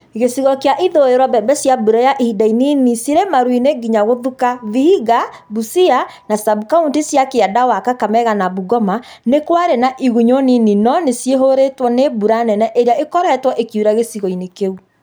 Gĩcigo kĩa ithũiro mbembe cia mbura ya iinda inini cirĩ maru-inĩ nginya gũthuka Vihiga, Busia, na sabkauntĩ cia kianda wa Kakamega na Bungoma nĩkwarĩ na igunyu nini no nĩcihũrĩtwo nĩ mbura nene ĩrĩa ĩkoretwo ĩkiura gĩcigo-inĩ kĩu